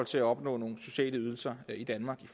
til at opnå nogle sociale ydelser i danmark i